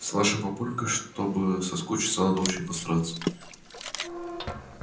с нашим папулькой чтобы соскучиться надо очень постараться